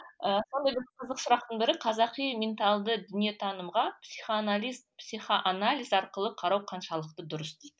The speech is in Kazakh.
ы сондай бір қызық сұрақтың бірі қазақи менталды дүниетанымға психоанализ арқылы қарау қаншалықты дұрыс дейді